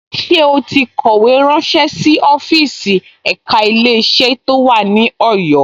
Ṣé ó ti kọ̀wé ránṣé sí ọ́fíìsì ẹ̀ka Ilé-iṣẹ́ tó wà ní Ọ̀yọ́